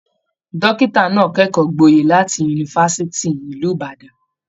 Dọ́kítà náà kẹ́kọ̀ọ́ gboyè láti Yunifásitì ti ìlú Ìbàdàn.